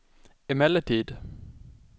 emellertid